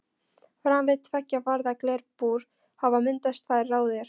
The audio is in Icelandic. Framan við tveggja varða glerbúr hafa myndast tvær raðir.